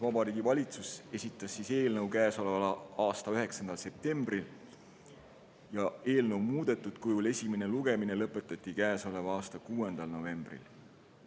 Vabariigi Valitsus esitas eelnõu käesoleva aasta 9. septembril ja esimene lugemine lõpetati käesoleva aasta 6. novembril.